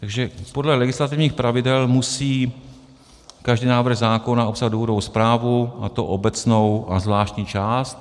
Takže podle legislativních pravidel musí každý návrh zákona obsahovat důvodovou zprávu, a to obecnou a zvláštní část.